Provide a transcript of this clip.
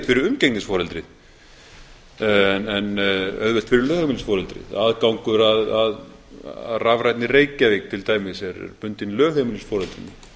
fyrir umgengnisforeldrið en auðvelt fyrir lögheimilisforeldrið aðgangur að rafrænni reykjavík til dæmis er bundinn lögheimilisforeldrinu